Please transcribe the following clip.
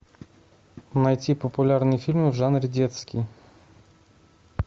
найти популярные фильмы в жанре детский